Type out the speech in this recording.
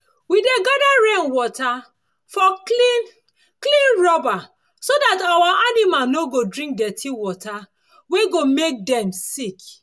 we dey gather rainwater for clean clean rubber so dat our animal no go drink dirty water wey go make make dem sick